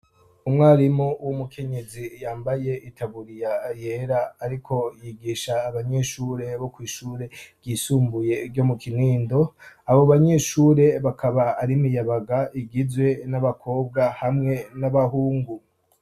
Umwarimu w'umukenyezi yambaye itaburiya yera, ariko yigisha abanyeshure bo kw'ishure ryisumbuye ryo mu kinindo abo banyeshure bakaba arimiyabaga igizwe n'abakobwa hamwe n'abahungu.